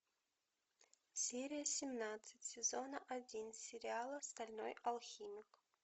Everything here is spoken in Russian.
серия семнадцать сезона один сериала стальной алхимик